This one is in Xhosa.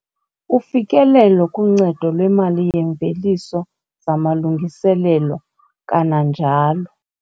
Ufikelelo kuncedo lwemali yeemveliso zamalungiselelo, kananjalo